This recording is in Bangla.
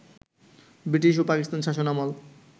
ব্রিটিশ ও পাকিস্তান শাসনামল